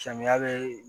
Samiya bɛ